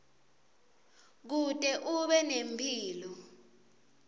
kute ube nemphilo